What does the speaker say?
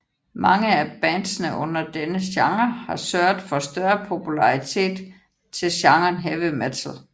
Mange af bandsene under denne genre har sørget for større popularitet til genren heavy metal